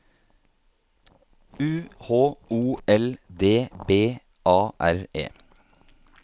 U H O L D B A R E